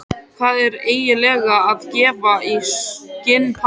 Hvað ertu eiginlega að gefa í skyn, pabbi?